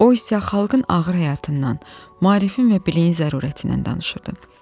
O isə xalqın ağır həyatından, marifin və biliyin zərurətindən danışırdı.